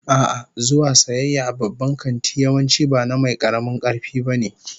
A'a, zuwa sayayya a babban kanti yawanci ba na mai karamin karfi ba ne